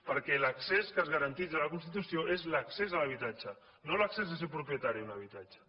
perquè l’accés que es garanteix a la constitució és l’accés a l’habitatge no l’accés a ser propietari d’un habitatge